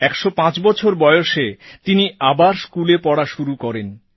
১০৫ বছর বয়সে তিনি আবার স্কুলে পড়া শুরু করেন